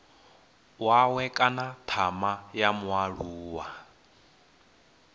wawe kana thama ya mualuwa